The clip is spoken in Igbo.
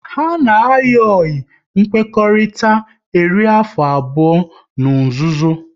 Ha na ayi oyi nkwekọrịta eri afọ abụọ n'nzuzo